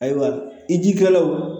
Ayiwa i jikɛlaw